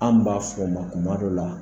An b'a fɔ o ma kuma dɔ la